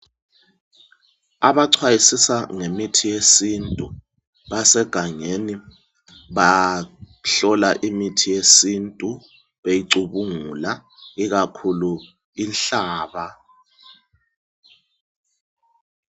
Abacwayisisa ngemithi yesintu basegangeni ,bahlola imithi yesintu beyicubungula ikakhulu inhlaba.